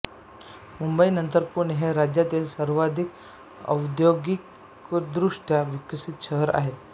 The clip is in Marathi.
मुंबई नंतर पुणे हे राज्यातील सर्वाधिक औद्योगिकदृष्ट्या विकसित शहर आहे